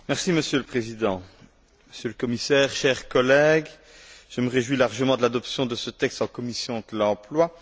Monsieur le Président, Monsieur le Commissaire, chers collègues, je me réjouis largement de l'adoption de ce texte en commission de l'emploi.